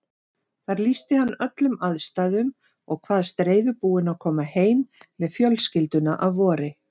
Þar lýsti hann öllum aðstæðum og kvaðst reiðubúinn að koma heim með fjölskylduna að vori.